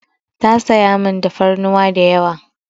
Ta sayi min tafarnuwa da yawa.